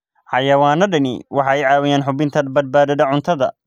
Xayawaanadani waxay caawiyaan hubinta badbaadada cuntada.